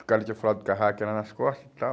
O cara tinha falado do lá nas costas e tal.